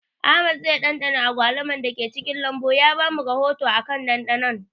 Ahmad zai ɗanɗana agwaluman da ke cikin lambun ya ba mu rahoto akan ɗanɗanon